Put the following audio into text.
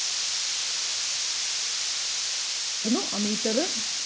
ammeter അഹ്